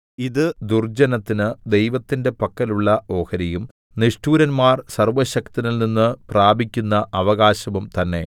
ഇത് ദുർജ്ജനത്തിന് ദൈവത്തിന്റെ പക്കലുള്ള ഓഹരിയും നിഷ്ഠൂരന്മാർ സർവ്വശക്തനിൽനിന്ന് പ്രാപിക്കുന്ന അവകാശവും തന്നെ